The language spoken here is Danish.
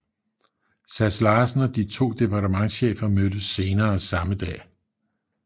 Sass Larsen og de to departementschefer mødtes senere samme dag